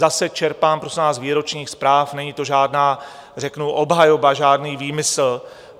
Zase čerpám, prosím vás, z výročních zpráv, není to žádná řeknu obhajoba, žádný výmysl.